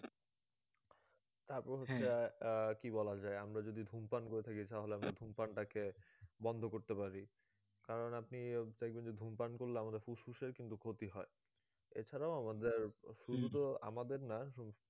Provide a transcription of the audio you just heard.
তারপর হচ্ছে আহ আহ কি বলা যায় আমরা যদি ধূমপান করে থাকি তাহলে আমরা ধূমপান টাকে বন্ধ করতে পারি কারণ আপনি দেখবেন যে ধূমপান করলে আমাদের ফুসফুসের কিন্তু ক্ষতি হয়ে এ ছাড়াও আমাদের শুধু তো আমাদের না